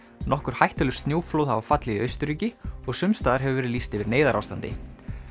nokkur hættuleg snjóflóð hafa fallið í Austurríki og sums staðar hefur verið lýst yfir neyðarástandi